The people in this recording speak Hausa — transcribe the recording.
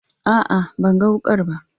A'a, ban gan wukar ba.